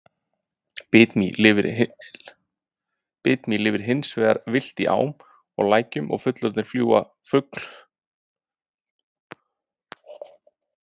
Bitmý lifir hins vegar villt í ám og lækjum og fullorðna flugan sækir á spendýr.